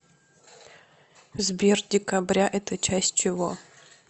сбер декабря это часть чего